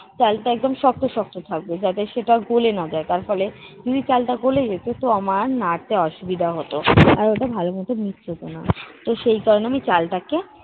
চালটা একদম শক্ত-শক্ত থাকবে যাতে সেটা গোলে না যায়, তার ফলে যদি চালটা গোলে যেত তো আমার নাড়তে অসুবিধা হতো। আর ওটা ভালোমত mixed হতো না। তো সেই কারণে আমি চালটাকে